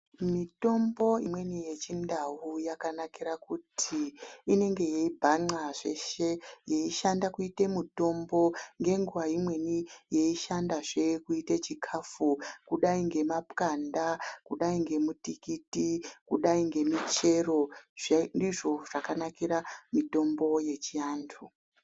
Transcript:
Mitombo imweni yechindau yakanakira kuti inenge yeibhan'a zveshe yeishanda kuite mitombo ngenguwa imweni yeishandazve kuite chikafu kudai ngemapwanda kudai ngemutimiti kudai ngemuchero tsve ndizvo zvakanakire mutombo yechiantu.